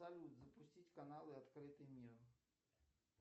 салют запустить каналы открытый мир